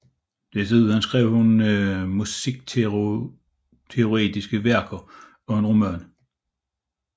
Desuden skrev hun musikteoretiske værker og en roman